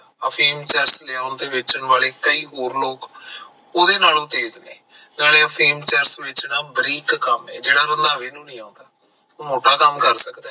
ਅਫੀਮ ਚਰਸ ਲਿਆਉਣ ਵੇਚਣ ਵਾਲੇ ਕਈ ਹੋਰ ਲੋਕ ਉਹਦੇ ਨਾਲੋਂ ਤੇਜ ਨੇ ਨਾਲੇ ਅਫੀਮ ਚਰਸ ਵੇਚਣਾ ਬਰੀਕ ਕੰਮ ਐ ਜਿਹੜਾ ਰੰਧਾਵੇ ਨੂੰ ਨਹੀਂ ਆਉਂਦਾ ਉਹ ਮੋਟਾ ਕੰਮ ਕਰ ਸਕਦਾ ਐ